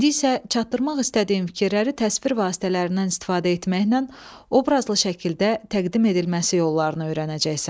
İndi isə çatdırmaq istədiyin fikirləri təsvir vasitələrindən istifadə etməklə obrazlı şəkildə təqdim edilməsi yollarını öyrənəcəksən.